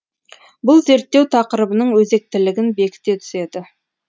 бұл зерттеу тақырыбының өзектілігін бекіте түседі